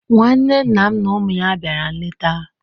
Nwanne nna m na ụmụ ya bịara nleta.